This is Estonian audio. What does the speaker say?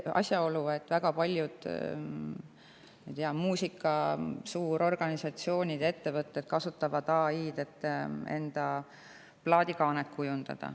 Näiteks on teada, et väga paljud suured muusikaorganisatsioonid ja ‑ettevõtted kasutavad AI‑d, et plaadikaasi kujundada.